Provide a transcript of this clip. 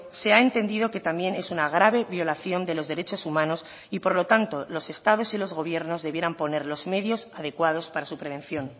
se ha entendido que también es una grave violación de los derechos humanos y por lo tanto los estados y los gobiernos debieran poner los medios adecuados para su prevención